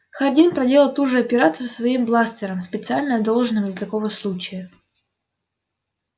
хардин проделал ту же операцию со своим бластером специально одолжённым для такого случая